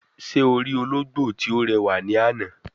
Se o ri ologbo ti o rewa ni ana?